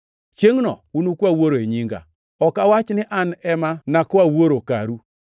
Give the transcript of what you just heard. Chiengʼno unukwa Wuoro e nyinga. Ok awach ni an ema nakwa Wuoro karu.